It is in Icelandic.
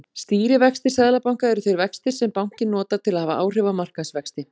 Stýrivextir seðlabanka eru þeir vextir sem bankinn notar til að hafa áhrif á markaðsvexti.